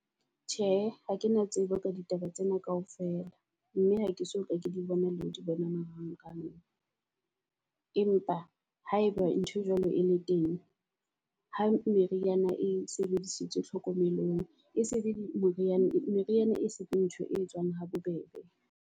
Tjhe, ha ke na tsebo ka ditaba tsena kaofela mme ha ke so ka ke di bona le ho di bona narang rang. Empa ha eba nthwe jwalo e le teng ha meriana e sebedisitswe tlhokomelong, e se le moriana meriana e seng ntho e tswang habobebe.